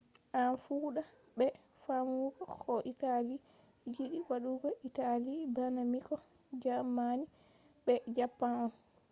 en fuɗɗa be faamugo ko italy yiɗi waɗugo. italy bana miko” jaamani be japan on